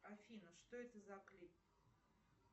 афина что это за клип